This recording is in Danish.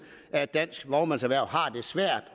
at det danske vognmandserhverv har det svært